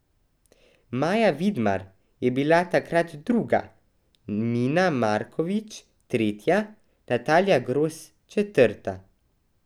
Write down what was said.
Maja Vidmar je bila takrat druga, Mina Markovič tretja, Natalija Gros četrta.